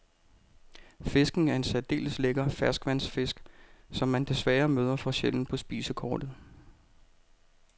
Fisken er en særdeles lækker ferskvandsfisk, som man desværre møder for sjældent på spisekortet.